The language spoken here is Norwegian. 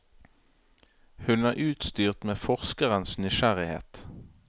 Hun er utstyrt med forskerens nysgjerrighet.